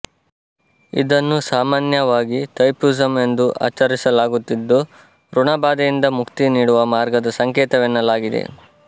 ಇದನ್ನು ಸಾಮಾನ್ಯವಾಗಿ ಥೈಪುಸಮ್ ಎಂದು ಆಚರಿಸಲಾಗುತ್ತಿದ್ದು ಋಣಬಾಧೆಯಿಂದ ಮುಕ್ತಿ ನೀಡುವ ಮಾರ್ಗದ ಸಂಕೇತವೆನ್ನಲಾಗಿದೆ